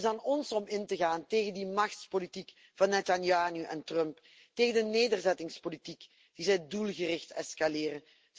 Het is aan ons om in te gaan tegen die machtspolitiek van Netanyahu en Trump, tegen de nederzettingspolitiek die zij doelgericht escaleren.